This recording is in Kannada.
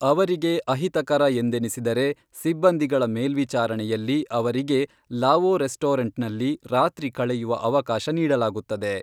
ಅವರಿಗೆ ಅಹಿತಕರ ಎಂದೆನಿಸಿದರೆ ಸಿಬ್ಬಂದಿಗಳ ಮೇಲ್ವಿಚಾರಣೆಯಲ್ಲಿ ಅವರಿಗೆ ಲಾವೋ ರೆಸ್ಟೋರೆಂಟ್ನಲ್ಲಿ ರಾತ್ರಿ ಕಳೆಯುವ ಅವಕಾಶ ನೀಡಲಾಗುತ್ತದೆ